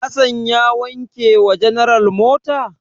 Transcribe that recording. Hassan ya wanke wa general mota?